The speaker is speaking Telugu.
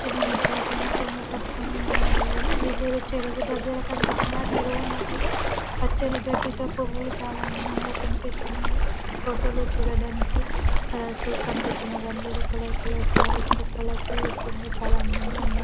విల్లు నెత్తిలపైనా కొంగు కప్పుకొని ఉన్నారు వేళ్ళు వెళ్లేదో చెరువు దెగ్గర కనిపిస్తున్నారు చెరువు మధ్యలో పచ్చని గడ్డితో చాలా పువ్వులు చాలా అందంగా కనిపిస్తున్నాయి ఫొటోలో చూడడానికి కలర్ఫుల్ కనిపిస్తున్నారు అందరు కలర్ కలర్ సారీస్ తో కాలర్ ఫుల్ లూకింగ్ తో చాలా అందంగా ఉన్నారు.